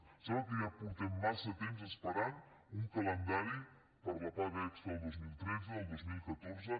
em sembla que ja fa massa temps que esperem un calendari per a les pagues extra del dos mil tretze i del dos mil catorze